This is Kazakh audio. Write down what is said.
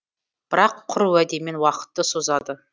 бірақ құр уәдемен уақытты созады